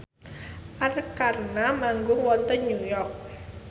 Arkarna manggung wonten New York